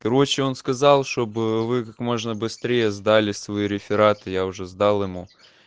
короче он сказал чтобы вы как можно быстрее сдали свои рефераты я уже сдал ему